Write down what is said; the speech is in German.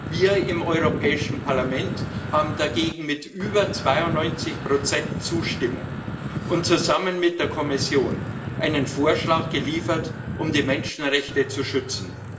Wir im Europäischen Parlament haben dagegen mit über 92 Zustimmung und zusammen mit der Kommission einen Vorschlag geliefert, um die Menschenrechte zu schützen.